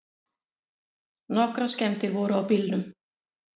Nokkrar skemmdir voru á bílnum.